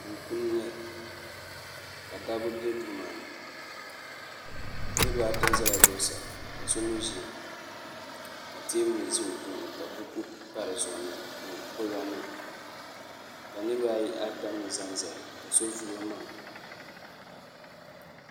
Duu puuni n-nyɛ li ka dabba be duu maa ni niriba ata zala zuɣusahi ka so mi ʒiya ka teebuli za o tooni ka buku pa di zuɣu ni kɔlibanima ka niriba ata mi zanzaya ka so vuli o maŋa.